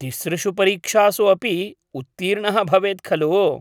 तिसृशु परीक्षासु अपि उत्तीर्णः भवेत् खलु?